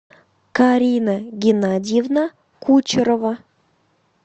карина геннадьевна кучерова